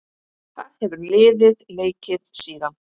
Þar hefur liðið leikið síðan.